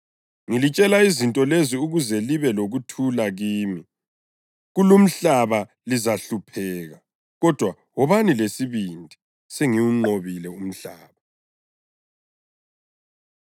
Ngilitshele izinto lezi ukuze libe lokuthula kimi. Kulumhlaba lizahlupheka. Kodwa wobani lesibindi! Sengiwunqobile umhlaba.”